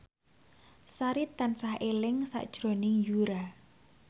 Sari tansah eling sakjroning Yura